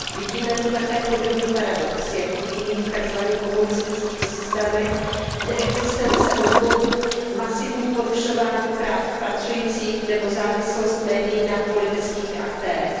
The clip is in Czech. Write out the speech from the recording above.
Vidíme tu také podobný paradox jako v jiných takzvaně komunistických systémech neexistence odborů, masivní porušování práv pracujících nebo závislost médií na politických aktérech.